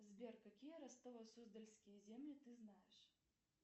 сбер какие ростово суздальские земли ты знаешь